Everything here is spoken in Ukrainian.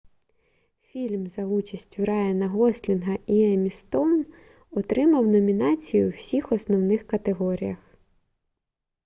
фільм за участю райана гослінга і еммі стоун отримав номінації у всіх основних категоріях